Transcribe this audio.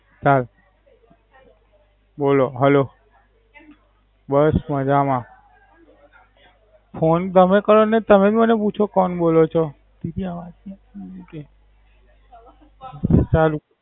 High બોલો hello બસ મજામાં ફોન તમે કર્યો ને તમે જ મને પૂછો તમે કોણ બોલો છો સારું.